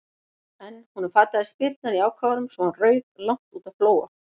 En honum fataðist spyrnan í ákafanum svo hann rauk langt út á Flóa.